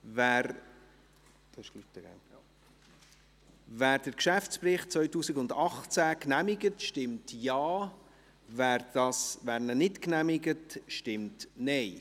Wer den Geschäftsbericht 2018 genehmigt, stimmt Ja, wer diesen nicht genehmigt, stimmt Nein.